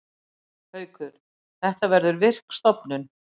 Haukur: Þetta verður virk stofnun.